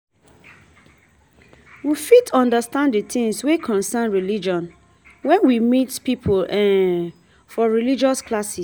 We fit undersand the things wey concern religion when we meet pipo for religious classes